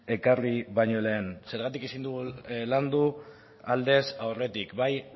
ekarri baino lehen zergatik ezin dugu landu aldez aurretik bai